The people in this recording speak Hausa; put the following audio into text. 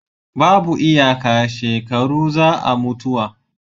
babu iyaka shekaru za a mutuwa